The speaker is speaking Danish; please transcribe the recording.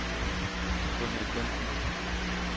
Gunhild Bengtsen